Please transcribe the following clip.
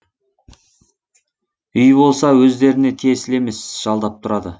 үй болса өздеріне тиесілі емес жалдап тұрады